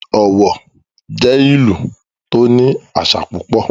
Ọ̀wọ̀ jẹ́ ìlú tó ní àṣà púpọ̀